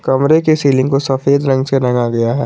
कमरे के सीलिंग को सफेद रंग से रंगा गया है।